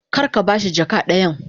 Kar ka ba shi jaka dayan.